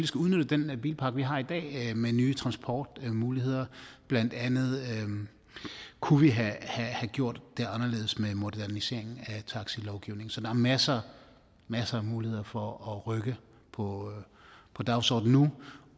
skal udnytte den bilpark vi har i dag med nye transportmuligheder blandt andet kunne vi have gjort det anderledes med moderniseringen af taxilovgivningen så der er masser og masser af muligheder for at rykke på dagsordenen nu